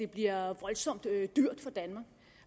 bliver voldsomt dyrt for danmark